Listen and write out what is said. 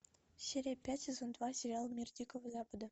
серия пять сезон два сериал мир дикого запада